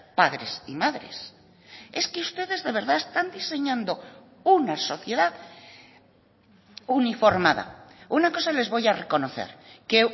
padres y madres es que ustedes de verdad están diseñando una sociedad uniformada una cosa les voy a reconocer que